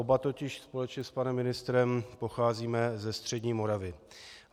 Oba totiž společně s panem ministrem pocházíme ze střední Moravy.